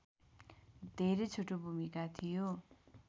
धेरै छोटो भूमिका थियो